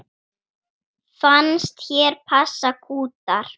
Fannst hér passa kútar.